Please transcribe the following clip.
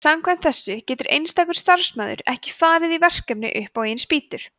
samkvæmt þessu getur einstakur starfsmaður ekki farið í verkfall upp á eigin spýtur